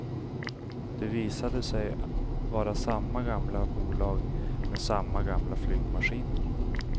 Det visade sig vara samma gamla bolag med samma gamla flygmaskiner.